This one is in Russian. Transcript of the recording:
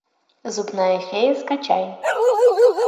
зубная фея скачай